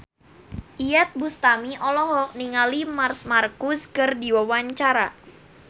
Iyeth Bustami olohok ningali Marc Marquez keur diwawancara